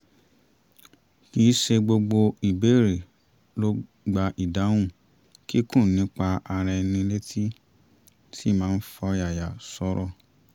kì í ṣe gbogbo ìbéèrè ló gba ìdáhùn kíkún nípa ara ẹni láti ṣì máa fi ọ̀yàyà sọ̀rọ̀